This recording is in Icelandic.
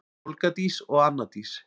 Olga Dís og Anna Dís.